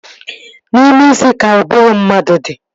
N'ime isi ka ụbụrụ mmadụ dị